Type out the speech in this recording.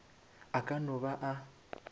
a ka no ba a